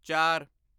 ਚਾਰ